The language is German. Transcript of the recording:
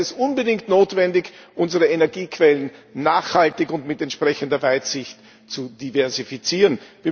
Daher ist es unbedingt notwendig, unsere Energiequellen nachhaltig und mit entsprechender Weitsicht zu diversifizieren.